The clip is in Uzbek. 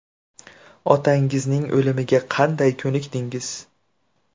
Otangizning o‘limiga qanday ko‘nikdingiz?